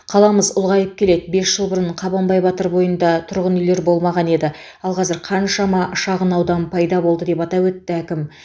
қаламыз ұлғайып келеді бес жыл бұрын қабанбай батыр бойында тұрғын үйлер болмаған еді ал қазір қаншама шағынаудан пайда болды деп атап өтті әкім